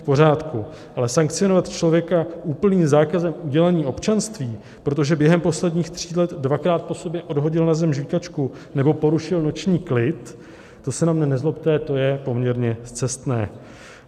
V pořádku, ale sankcionovat člověka úplným zákazem udělení občanství, protože během posledních tří let dvakrát po sobě odhodil na zem žvýkačku nebo porušil noční klid, to se na mě nezlobte, to je poměrně scestné.